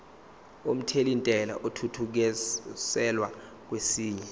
omthelintela athuthukiselwa kwesinye